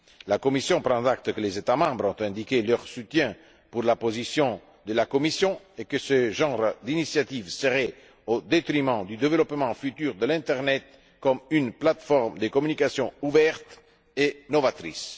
La Commission prend acte que les États membres ont indiqué leur soutien à la position de la Commission et que ce genre d'initiatives serait préjudiciable au développement futur de l'internet comme une plate forme de communication ouverte et novatrice.